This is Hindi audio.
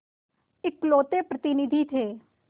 इकलौते प्रतिनिधि थे